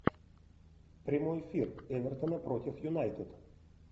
прямой эфир эвертона против юнайтед